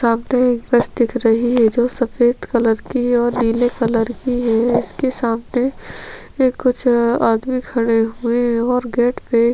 सामने एक बस दिख रही है जो की सफेद कलर की ओर नीले कलर की है उसके सामने कुछ आदमी खड़े हुए है।